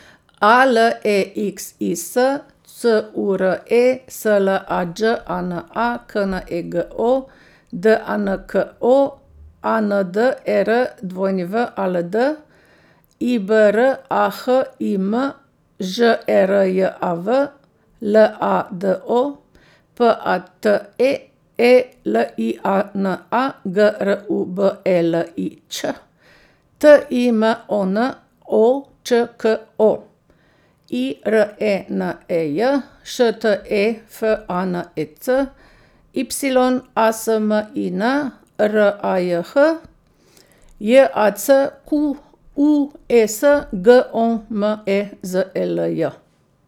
A L E X I S, C U R E; S L A Đ A N A, K N E G O; D A N K O, A N D E R W A L D; I B R A H I M, Ž E R J A V; L A D O, P A T E; E L I A N A, G R U B E L I Ć; T I M O N, O Č K O; I R E N E J, Š T E F A N E C; Y A S M I N, R A J H; J A C Q U E S, G O M E Z E L J.